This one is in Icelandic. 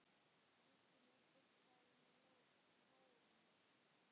Rúskinn er burstað með lónni.